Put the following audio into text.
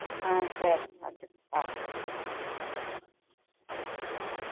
ஆஹ் சரி வச்சுருங்க அஹ்